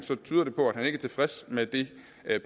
tyder det på at han ikke er tilfreds med det